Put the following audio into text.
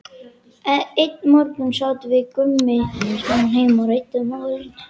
Einn morguninn sátum við Gummi saman heima og ræddum málið.